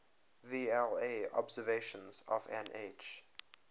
vla observations of nh